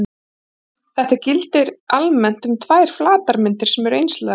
Þetta gildir almennt um tvær flatarmyndir sem eru einslaga.